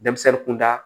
Denmisɛnnin kunda